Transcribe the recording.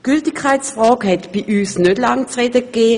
Die Gültigkeitsfrage gab in der BiK nicht lange zu reden: